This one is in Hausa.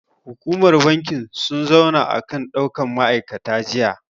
Hukumar bankin sun zauna akan ɗaukan ma'aikata jiya.